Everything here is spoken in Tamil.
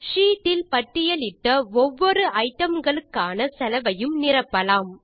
ஷீட் இல் பட்டியலிட்ட ஒவ்வொரு ஐடம்களுக்கான செலவையும் நிரப்பலாம்